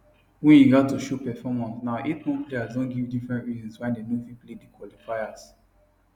wey you gat to show performance now eight more players don give different reasons why dem no fit play di qualifiers